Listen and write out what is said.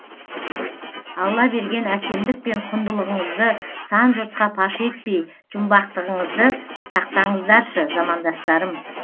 алла берген әсемдік пен құндылығыңызды сан жұртқа паш етпей жұмбақтығыңызды сақтаңыздаршы замандастарым